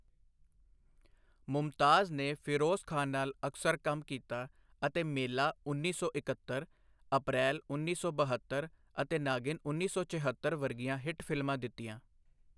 ਮੁਮਤਾਜ਼ ਨੇ ਫਿਰੋਜ਼ ਖਾਨ ਨਾਲ ਅਕਸਰ ਕੰਮ ਕੀਤਾ ਅਤੇ ਮੇਲਾ ਉੱਨੀ ਸੌ ਇੱਕਹੱਤਰ, ਅਪ੍ਰੈਲ ਉੱਨੀ ਸੌ ਬਹੱਤਰ ਅਤੇ ਨਾਗਿਨ ਉੱਨੀ ਸੌ ਛਿਅੱਤਰ ਵਰਗੀਆਂ ਹਿੱਟ ਫਿਲਮਾਂ ਦਿੱਤੀਆਂ।